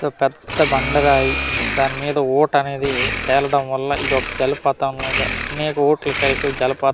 ఒక పెద్ద బండరాయి దాని మీద వోట్ అనేది తేలడం వల్ల ఇదొక్క జలపాతం లాగా నీకు వోట్లు కలిపి జలపాతం .